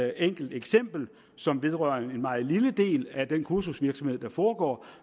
enkelt eksempel som vedrører en meget lille del af den kursusvirksomhed der foregår